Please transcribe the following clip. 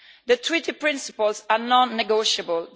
The Treaty principles are non negotiable.